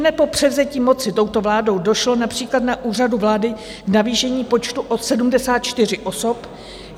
Ihned po převzetí moci touto vládou došlo například na Úřadu vlády k navýšení počtu o 74 osob.